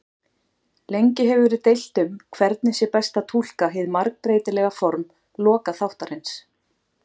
Lengi hefur verið deilt um hvernig sé best að túlka hið margbreytilega form lokaþáttarins.